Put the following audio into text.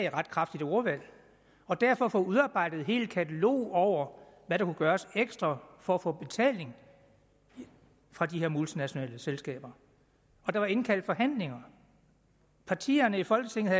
et ret kraftigt ordvalg og derfor fået udarbejdet et helt katalog over hvad der gøres ekstra for at få betaling fra de her multinationale selskaber der var indkaldt til forhandlinger partierne i folketinget